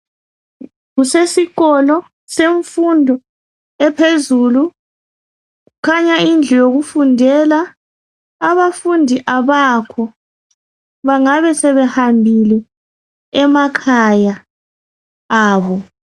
Kusesikolo semfundo ephezulu. Kukhanya indlu yokufundela. Abafundi abakho. Bengabe sebehambile emakhaya abo.